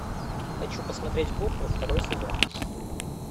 хочу посмотреть кухню второй сезон